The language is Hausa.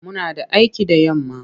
Muna da aiki da yamma.